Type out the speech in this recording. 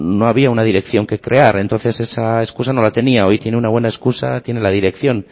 no había una dirección que crear entonces esa excusa no la tenía hoy tiene una buena excusa tiene la dirección